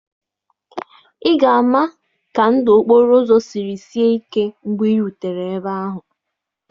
Ị ga-ama ka ndụ okporo ụzọ siri sie ike mgbe ị rutere ebe ahụ.